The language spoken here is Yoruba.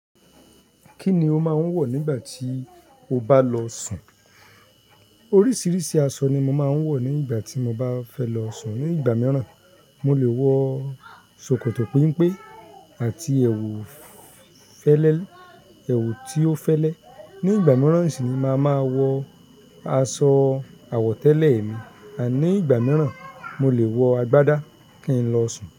Kí ni o máa ń wọ̀ nígbà tí o bá lọ sùn? Oríṣiríṣi aṣọ ni mo máa ń wọ̀ nígbà tí mo bá fẹ́ lọ sùn. Ní ìgbà mìíràn, mo lè wọ ṣòkòtò pẹ́mpẹ́ àti ẹ̀wù fẹ́lẹ́, ẹ̀wù tí ó fẹ́lẹ́. Ní ìgbà mìíràn sì ni màá ma wọ aṣọ àwọ̀tẹ́lẹ̀ mi. Àní ìgbà mìíràn, mo lè wọ agbádá kí n lọ sùn.